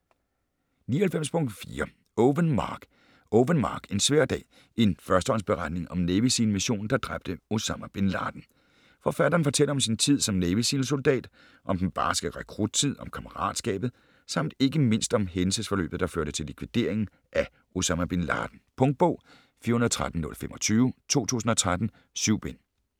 99.4 Owen, Mark Owen, Mark: En svær dag: en førstehåndsberetning om Navy SEAL missionen der dræbte Osama Bin Laden Forfatteren fortæller om sin tid som Navy Seal soldat. Om den barske rekruttid, om kammeratskabet samt ikke mindst om hændelsesforløbet der førte til likvideringen af Osama bin Laden. Punktbog 413025 2013. 7 bind.